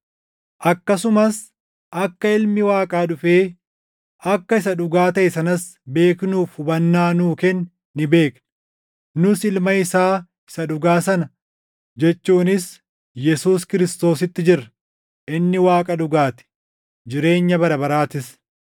Akkasumas akka Ilmi Waaqaa dhufee akka isa dhugaa taʼe sanas beeknuuf hubannaa nuu kenne ni beekna. Nus Ilma isaa isa dhugaa sana, jechuunis Yesuus Kiristoositti jirra. Inni Waaqa dhugaa ti; jireenya bara baraatis.